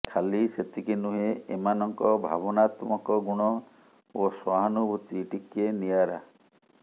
ଖାଲି ସେତିକି ନୁହେଁ ଏମାନଙ୍କ ଭାବନାତ୍ମକ ଗୁଣ ଓ ସହାନୁଭୂତି ଟିକେ ନିଆରା